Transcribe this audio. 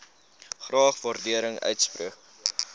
graag waardering uitspreek